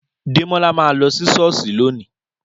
Dẹmọlà mà lọ si sọọsi lẹ̀ni.